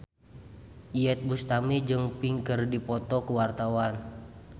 Iyeth Bustami jeung Pink keur dipoto ku wartawan